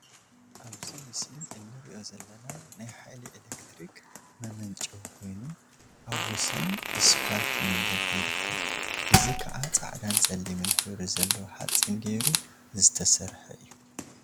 አብዚ ምስሊ እንሪኦ ዘለና ናይ ሓይሊ ኤሌክትሪክ መመንጨዊ ኮይኑ፤ አብ ወሰን እስፓልት መንገዲ ይርከብ፡፡ እዚ ከዓ ፃዕዳን ፀሊምን ሕብሪ ዘለዎ ሓፂን ገይሩ ዝተሰርሐ እዩ፡፡